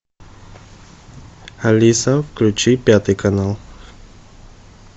алиса включи пятый канал